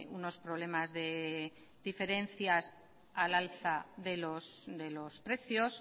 unos problemas de diferencias al alza de los precios